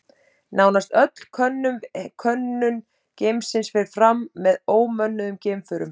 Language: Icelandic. Nánast öll könnun geimsins fer fram með ómönnuðum geimförum.